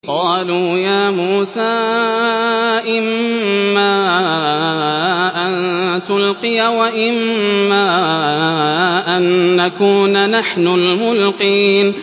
قَالُوا يَا مُوسَىٰ إِمَّا أَن تُلْقِيَ وَإِمَّا أَن نَّكُونَ نَحْنُ الْمُلْقِينَ